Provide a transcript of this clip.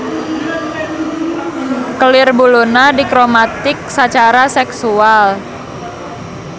Kelir buluna dikromatik sacara seksual.